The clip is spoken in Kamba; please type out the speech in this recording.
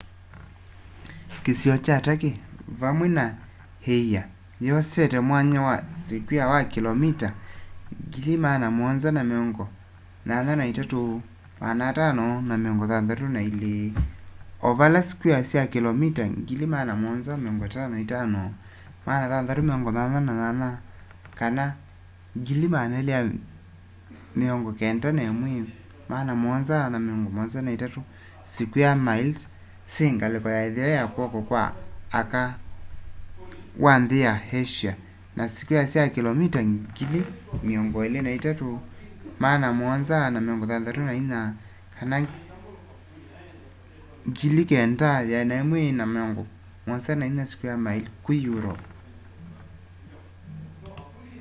kîsio kya turkey vamwe na îia yosete mwanya wa sikwea wa kilomita 783,562 300,948 sq mi o vala sikwea sya kilomita 755,688 291,773 sq mi syingaliko ya itheo ya kwoko kwa aka wa nthi ya asia na sikwea sya kilomita 23,764 9,174 sq mi ku europe